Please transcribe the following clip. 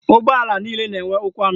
Ụgbọala niile na-enwe ụkwụ anọ.